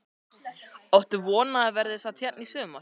Áttu von á að hann verði samt hérna í sumar?